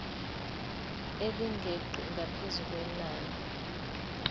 elingeqi ngaphezu kwenani